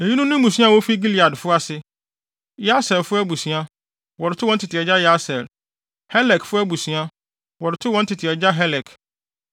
Eyinom ne mmusua a wofi Gileadfo ase: Yeserfo abusua, wɔde too wɔn tete agya Yeser; Helekfo abusua, wɔde too wɔn agya Helek.